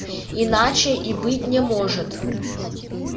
иначе и быть не может